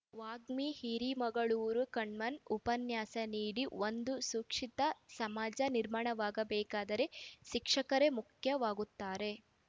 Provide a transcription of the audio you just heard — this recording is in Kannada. ವಾಗ್ಮಿ ಹಿರೇಮಗಳೂರು ಕಣ್ಣನ್‌ ಉಪನ್ಯಾಸ ನೀಡಿ ಒಂದು ಸುಶಿಕ್ಷಿತ ಸಮಾಜ ನಿರ್ಮಾಣವಾಗಬೇಕಾದರೆ ಶಿಕ್ಷಕರೇ ಮುಖ್ಯವಾಗುತ್ತಾರೆ